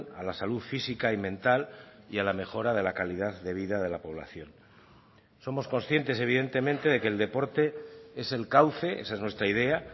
a la salud física y mental y a la mejora de la calidad de vida de la población somos conscientes evidentemente de que el deporte es el cauce esa es nuestra idea